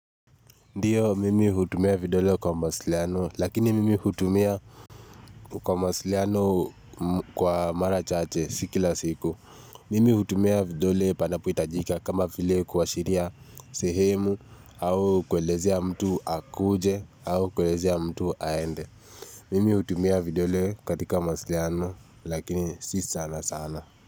Ndiyo mimi hutumia vidole kwa mawasiliano lakini mimi hutumia kwa mawasiliano kwa mara chache si kila siku. Mimi hutumia vidole panapohitajika kama vile kuashiria sehemu au kuelezea mtu akuje au kuelezea mtu aende. Mimi hutumia vidole katika mawasiliano lakini si sana sana.